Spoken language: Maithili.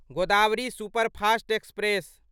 Godavari superfast express